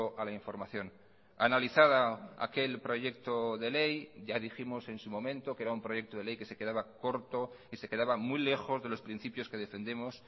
a la información analizada aquel proyecto de ley ya dijimos en su momento que era un proyecto de ley que se quedaba corto y se quedaba muy lejos de los principios que defendemos